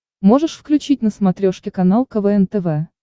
можешь включить на смотрешке канал квн тв